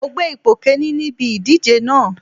Mo gbé ipò Kínní níbi ìdíje náà.